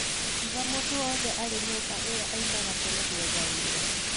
Akiuga mũndũ wothe arĩ nyũmba ĩyo aumaga tene gwetha wĩra.